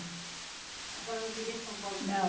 A senhora não queria que São Paulo se separasse? não